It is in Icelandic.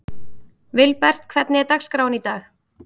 Vilbert, hvernig er dagskráin í dag?